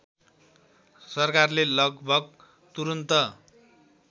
सरकारले लगभग तुरन्त